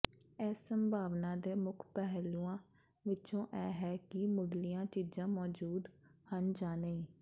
ਇਸ ਸੰਭਾਵਨਾ ਦੇ ਮੁੱਖ ਪਹਿਲੂਆਂ ਵਿੱਚੋਂ ਇਹ ਹੈ ਕਿ ਮੁਢਲੀਆਂ ਚੀਜ਼ਾਂ ਮੌਜੂਦ ਹਨ ਜਾਂ ਨਹੀਂ